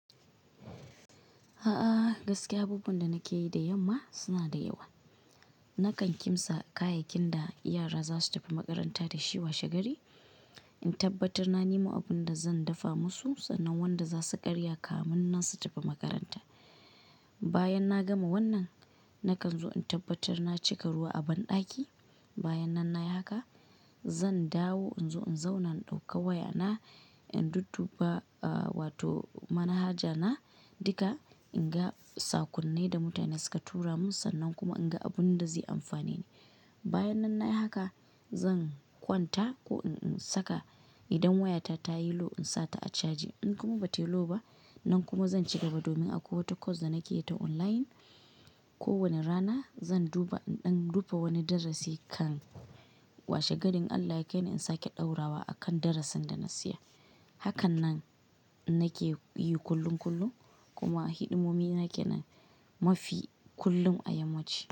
A'a gaskiya, abubuwan da nake yi da yamma suna da yawa. Nakan kimtsa kayakin da yara za su tafi makaranta da shi washe gari, in tabbatar na nemo abin da zan dafa musu sannan wanda za su karya kafin nan su tafi makaranta. Bayan na gama wannan, nakan zo in tabbatar na cika ruwa a banɗaki. Bayan nan na yi haka, zan dawo in zo in zauna in ɗauka waya na in dudduba wato manhaja na duka in ga saƙonnin da mutane suka tura min sannan kuma in ga abun da zai amfane ni. Bayan nan na yi haka, zan kwanta ko in saka idan wayata ta yi low in sa ta a caji. In kuma ba ta yi low ba, nan kuma zan ci gaba domin akwai wata course da nake yi ta online. Ko wani rana zan duba in ɗan duba wani darasi kan washe garin in Allah ya kaimu in sake ɗaurawa a kan darasin da na tsaya. Hakanan nake yi kullum kullum kuma hidimomi nake nan mafi kullum a yammaci.